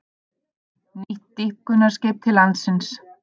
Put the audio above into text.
Nýtt dýpkunarskip til landsins